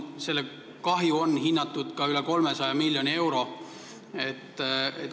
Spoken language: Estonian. Selleks kahjuks on hinnatud üle 300 miljoni euro.